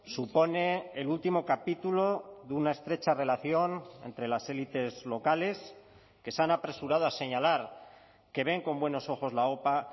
supone el último capítulo de una estrecha relación entre las élites locales que se han apresurado a señalar que ven con buenos ojos la opa